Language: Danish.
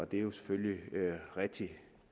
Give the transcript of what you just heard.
det er jo selvfølgelig rigtig